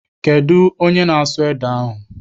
Kedụ onye na-asụ ede ahụ?